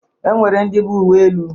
E nwere ndị bụ uwe elu